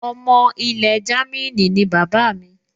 Ọmọ ilẹ̀ Jámínì ni bàbá mi